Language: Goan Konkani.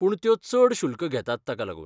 पूण त्यो चड शुल्क घेतात ताका लागून.